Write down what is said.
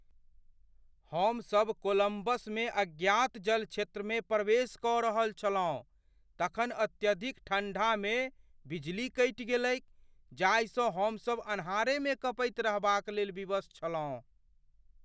हमसभ कोलम्बसमे अज्ञात जलक्षेत्रमे प्रवेश कऽ रहल छलहुँ ,तखन अत्यधिक ठण्डामे बिजली कटि गेलैक जाहिसँ हमसभ अन्हारमे कँपैत रहबाक लेल विवश छलहुँ।